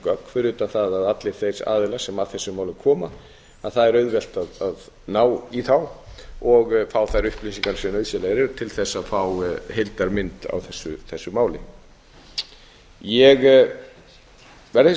gögn fyrir utan það að allir þeir aðilar sem að þessu máli koma er auðvelt að ná í þá og fá þær upplýsingar sem nauðsynlegar eru til þess að fá heildarmynd á þessu máli ég verð hins vegar